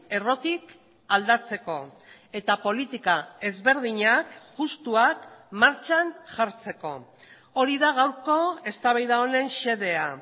errotik aldatzeko eta politika ezberdinak justuak martxan jartzeko hori da gaurko eztabaida honen xedea